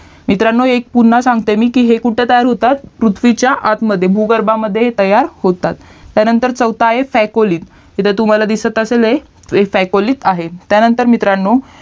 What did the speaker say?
मित्रांनो पुन्हा सांगते मी हे की हे कुठे तयार होतात पृथ्वीच्या आत मध्ये भूगर्भामद्धे हे तयार होतात त्यानंतर चौथा आहे सायकोली इथे तुम्हाला दिसत असेल हे सायकोलिक आहे त्यानंतर मित्रांनो